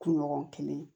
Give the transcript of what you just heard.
Kunɲɔgɔn kelen